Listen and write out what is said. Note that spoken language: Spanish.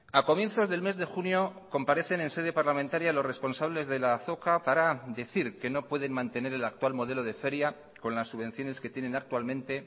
a comienzos del mes de junio comparecen en sede parlamentaria los responsables de la azoka para decir que no pueden mantener el actual modelo de feria con las subvenciones que tienen actualmente